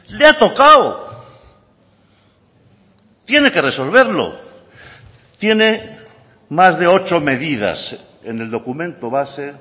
le ha tocado tiene que resolverlo tiene más de ocho medidas en el documento base